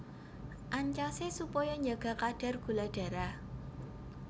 Ancasé supaya njaga kadar gula darah